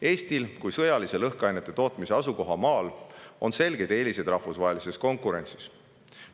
Eestil kui sõjalise lõhkainete tootmise asukohamaal on selgeid eeliseid rahvusvahelises konkurentsis.